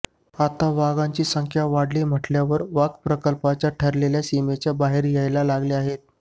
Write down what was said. आता वाघांची संख्या वाढली म्हटल्यावर वाघ प्रकल्पाच्या ठरलेल्या सीमेच्या बाहेर यायला लागले आहेत